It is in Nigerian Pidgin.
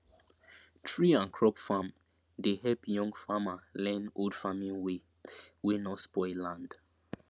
tree and crop farm dey help young farmer learn old farming way wey no spoil land